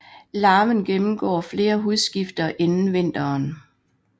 Larven gennemgår flere hudskifter inden vinteren